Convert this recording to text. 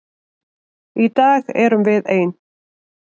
Í dag erum við ein.